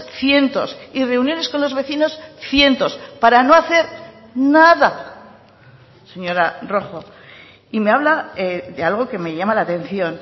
cientos y reuniones con los vecinos cientos para no hacer nada señora rojo y me habla de algo que me llama la atención